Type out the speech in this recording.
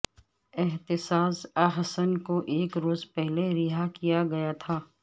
اعتزاز احسن کو ایک روز پہلے رہا کیا گیا تھا